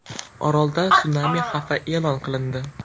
Orolda sunami xavfi e’lon qilindi.